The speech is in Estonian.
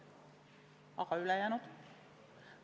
Aga ülejäänu?